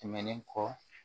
Tɛmɛnen kɔ